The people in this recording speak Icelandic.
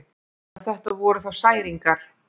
Ef þetta voru þá særingar.